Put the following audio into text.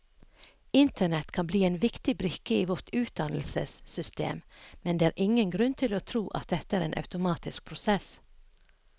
Internett kan bli en viktig brikke i vårt utdannelsessystem, men det er ingen grunn til å tro at dette er en automatisk prosess.